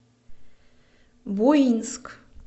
буинск